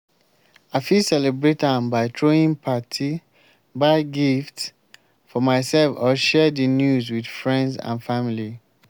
i fit celebrate am by throwing party buy gifts for myself or share di news with friends and family.